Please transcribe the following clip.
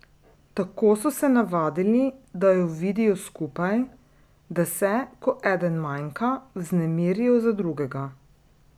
Tako so se navadili, da ju vidijo skupaj, da se, ko eden manjka, vznemirijo za drugega.